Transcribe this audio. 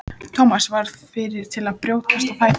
Thomas varð fyrri til að brjótast á fætur.